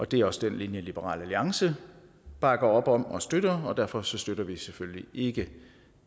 det er også den linje liberal alliance bakker op om og støtter og derfor støtter vi selvfølgelig ikke